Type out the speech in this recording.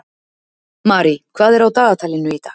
Marie, hvað er á dagatalinu í dag?